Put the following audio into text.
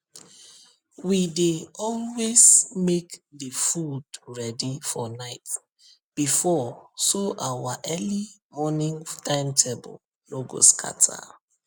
we dey always make the food ready for night before so our early morning timetable no go scatter